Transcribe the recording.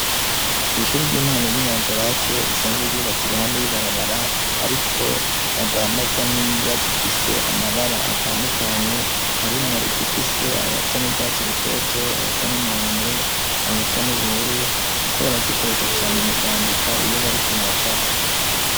Kw'ishuri ry'intango ry'inyanzirake risanzwe ryubatse iruhande y'ibarabara ariko badandaza n'ingwa zifise amabara atandukanye harimwo izifise ayasa n'urwatsi rutoto ayasa n'umuhondo ayasa n'ubururu kuko barazikoresha cyane mu kwandika iyo bariko baracapa.